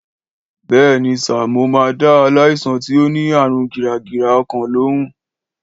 Béèni sà, mo ma da aláìsàn tí o ní ààrun gìràgìrà ọkàn lóhùn